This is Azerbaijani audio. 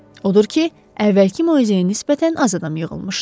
Odur ki, əvvəlki moizəyə nisbətən az adam yığılmışdı.